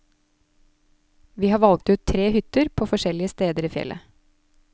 Vi har valgt ut tre hytter på forskjellige steder i fjellet.